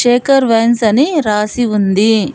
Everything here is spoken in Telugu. శేఖర్ వైన్స్ అన్ని రాసి ఉంది.